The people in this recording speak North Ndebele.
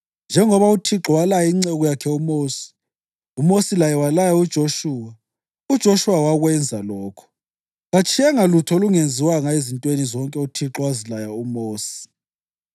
Njengoba uThixo walaya inceku yakhe uMosi, uMosi laye walaya uJoshuwa, uJoshuwa wakwenza lokho: katshiyanga lutho lungenziwanga ezintweni zonke uThixo owazilaya uMosi.